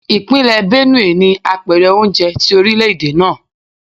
Ipinle Benue ni apèrè oúnjẹ ti orilẹ-ede naa.